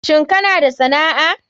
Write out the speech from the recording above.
Shin kana da sana'a.